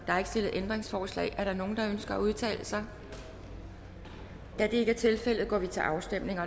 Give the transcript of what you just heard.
stillet ændringsforslag er der nogen der ønsker at udtale sig da det ikke er tilfældet går vi til afstemning